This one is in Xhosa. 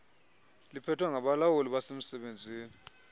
liphethwe ngabalawuli bemisebenzi